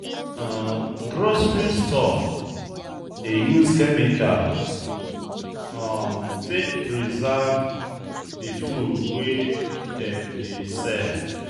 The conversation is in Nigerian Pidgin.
um Grocery store dey use chemicals um take preserve di food wey dem dey sell